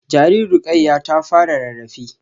Jaririn Rukayyah ta fara rarrafe